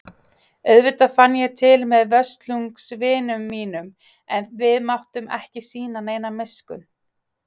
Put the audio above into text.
Auðvitað fann ég til með Völsungs vinum mínum en við máttum ekki sýna neina miskunn.